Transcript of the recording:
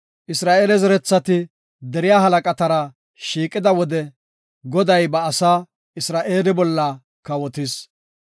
Isra7eele zerethati deriya halaqatara shiiqida wode, Goday ba asaa, Isra7eele bolla kawotis.